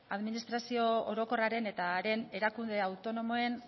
administrazio orokorraren eta haren erakunde autonomoen